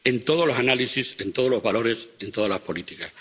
En todos los análisis, en todos los valores, en todas las políticas.